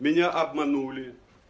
меня обманули